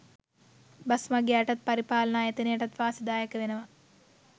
Bus මගියාටත් පරිපාලන ආයතනයටත් වාසිදායක වෙනවා.